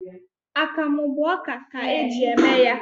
Akamụ bụ ọka ka e ji eme ya